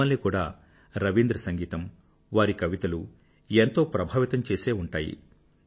మిమ్మల్ని కూడా రవీంద్ర సంగీతం వారి కవితలు ఎంతో ప్రభావితం చేసి ఉంటాయి